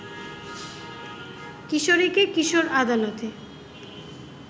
কিশোরীকে কিশোর আদালতে